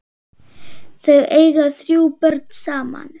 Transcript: Þau eiga þrjú börn saman.